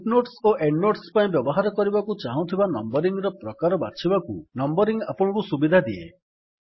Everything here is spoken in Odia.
ଫୁଟ୍ ନୋଟ୍ସ ଓ ଏଣ୍ଡ୍ ନୋଟ୍ସ ପାଇଁ ବ୍ୟବହାର କରିବାକୁ ଚାହୁଁଥିବା ନମ୍ବରିଙ୍ଗ୍ ର ପ୍ରକାର ବାଛିବାକୁ ନମ୍ବରିଂ ଆପଣଙ୍କୁ ସୁବିଧା ଦିଏ